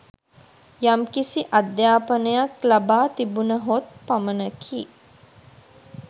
යම්කිසි අධ්‍යාපනයක් ලබා තිබුණහොත් පමණකි.